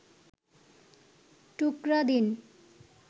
টুকরা দিন